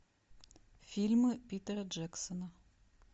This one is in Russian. фильмы питера джексона